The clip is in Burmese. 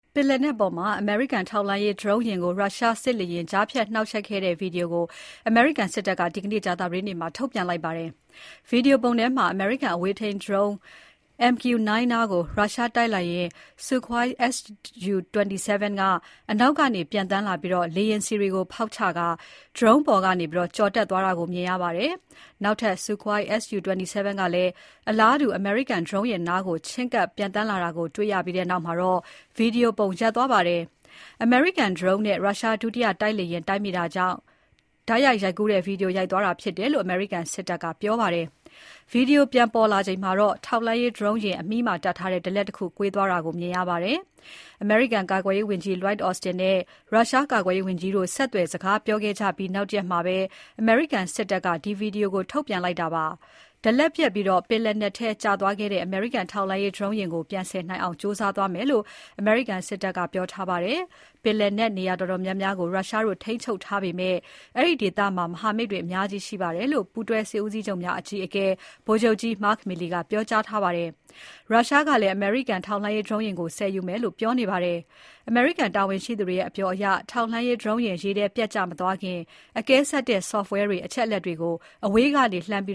ပင်လယ်နက်ပေါ်မှာ အမေရိကန် ထောက်လှမ်းရေး Drone ယာဉ်ကို ရုရှားစစ်လေယာဉ် ကြားဖြတ် နှောင့်ယှက်ခဲ့တဲ့ ဗွီဒီယိုကိုအမေရိကန်စစ်တပ်က ဒီနေ့ ကြာသပတေးနေ့မှာ ထုတ်ပြန်လိုက်ပါတယ်။ ဗွီဒီယိုထဲမှာ အမေရိကန် အဝေးထိန်းဒရုန်း MQ-9 နားကို ရုရှားတိုက်လေယာဉ် Sukhoi Su-27 က အနောက်ကနေ ပျံသန်းလာပြီး လေယာဉ်ဆီတွေ ဖောက်ချကာ ဒရုန်း အပေါ်ကနေ ကျော်တက်သွားတာကို မြင်ရပါတယ်။ နောက်ထပ် Sukhoi Su-27 ကလည်း အလားတူ အမေရိကန်ဒရုန်းနားကို ချဉ်းကပ်ပျံသန်းလာတာကို တွေ့ရပြီးနောက် ဗွီဒီယိုပုံရပ်သွားပါတယ်။ အမေရိကန်ဒရုန်းနဲ့ ရုရှားဒုတိယ တိုက်လေယာဉ်တိုက်မိတာကြောင့် တိုက်ရိုက်ရိုက်ကူးတဲ့ ဗွီဒီယိုရပ်သွားတာဖြစ်တယ်လို့ အမေရိကန်စစ်တပ်က ပြောပါတယ်။ ဗွီဒီယိုပြန်ပေါ်လာချိန်မှာတော့ ထောက်လှမ်းရေးဒရုန်းယာဉ် အမြီးမှာတပ်ထားတဲ့ ဒလက်တခု ကွေးသွားတာကို မြင်ရပါတယ်။ အမေရိကန်ကာကွယ်ရေးဝန်ကြီး Lloyd Austin နဲ့ ရုရှားကာကွယ်ရေးဝန်ကြီးတို့ ဆက်သွယ်စကားပြောခဲ့ကြပြီး နောက်တရက်မှာ အမေရိကန်စစ်တပ်က ဒီ Video ကို ထုတ်ပြန်လိုက်တာဖြစ်ပါတယ်။ ဒလက်ပျက်ပြီး ပင်လယ်နက်ထဲ ကျသွားခဲ့တဲ့ အမေရိကန်ထောက်လှမ်းရေးဒရုန်းယာဉ်ကို ပြန်ဆယ်နိုင်အောင် ကြိုးစားသွားမယ်လို့ အမေရိကန်စစ်တပ်က ပြောထားပါတယ်။ ပင်လယ်နက် နေရာတော်တော်များများကို ရုရှားတို့ ထိန်းချုပ်ထားပေမယ့် အဲဒီဒေသမှာ မဟာမိတ်တွေအများကြီးရှိပါတယ်လို့ ပူးတွဲစစ်ဦးစီးချုပ်များအကြီးအကဲ ဗိုလ်ချုပ်ကြီး Mark Milley ကပြောကြားထားပါတယ်။ ရုရှားကလည်း အမေရိကန် ထောက်လှမ်းရေးဒရုန်းကို ဆယ်ယူမယ်လို့လည်း ပြောနေပါတယ်။ ထောက်လှမ်းရေးဒရုန်းယာဉ် ရေထဲပျက်ကျ မသွားခင် အကဲဆတ်တဲ့ Software တွေ အချက်အလက်တွေကို အဝေးကနေ လှမ်းပြ